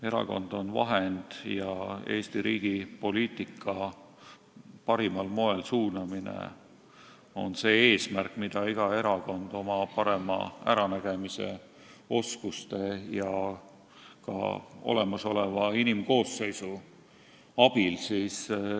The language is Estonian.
Erakond on vahend ja Eesti riigi poliitika parimal moel suunamine on see eesmärk, mida iga erakond teostab oma parema äranägemise, oskuste ja ka olemasoleva inimkoosseisu abil.